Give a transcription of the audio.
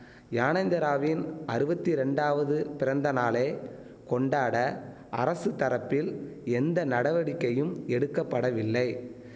யானேந்திராவின் அறுவத்தி ரெண்டாவது பிறந்த நாளை கொண்டாட அரசு தரப்பில் எந்த நடவடிக்கையும் எடுக்க படவில்லை